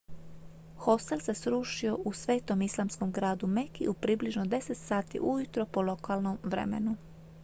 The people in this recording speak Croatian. hostel se srušio u svetom islamskom gradu meki u približno 10 sati ujutro po lokalnom vremenu